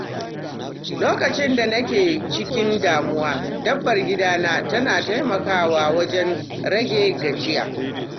Lokacin da nake cikin damuwa, dabbar gida na tana taimakawa wajen rage gajiya.